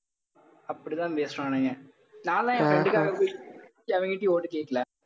அப்பிடித்தான் பேசுவானுங்க நான்லாம் என் friend காக போய் எவன்கிட்டயும் vote உ கேக்கல